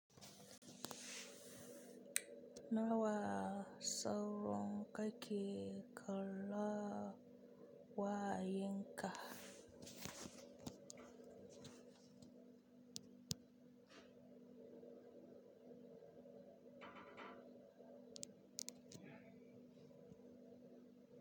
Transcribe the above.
Sau nawa kake kallon wa yanka?